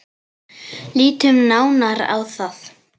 Lítum nánar á það.